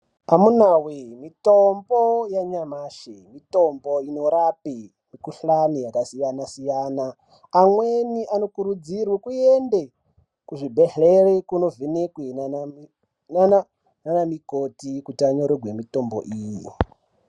Amunawoye mitombo yanyamashi mitombo inorapa mukuhlani yakasiyana -siyana amweni anokurudzirwe kuende kuzvibhedhlera kundovhenekwa nanamukoti kuti anyorerwe mitombo iyi.